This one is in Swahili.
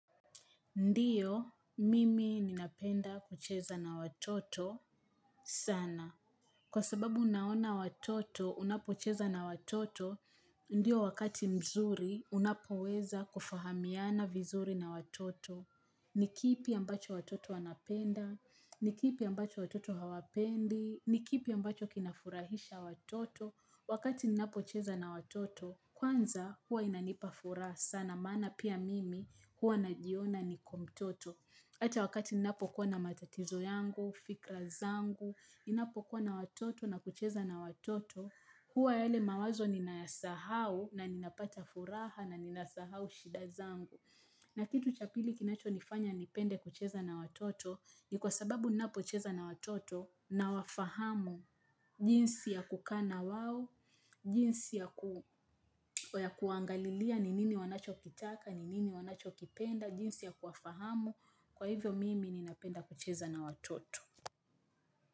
Ndiyo, mimi ninapenda kucheza na watoto sana. Kwa sababu unaona watoto, unapocheza na watoto, ndio wakati mzuri, unapoweza kufahamiana vizuri na watoto. Nikipi ambacho watoto wanapenda, nikipi ambacho watoto hawapendi, nikipi ambacho kinafurahisha watoto. Wakati ninapocheza na watoto, kwanza huwa inanipa furaha sana, maana pia mimi huwa najiona niko mtoto. Hata wakati ninapo kuwa na matatizo yangu, fikra zangu, ninapo kuwa na watoto na kucheza na watoto, huwa yele mawazo ninayasahau na ninapata furaha na ninasahau shida zangu. Na kitu chapili kinacho nifanya nipende kucheza na watoto, ni kwa sababu ninapocheza na watoto nawafahamu jinsi ya kukaana wao, jinsi ya kuangalilia ni nini wanacho kitaka, ninini wanacho kipenda, jinsi ya kuwafahamu, kwa hivyo mimi ninapenda kucheza na watoto.